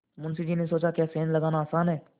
मुंशी जी ने सोचाक्या सेंध लगाना आसान है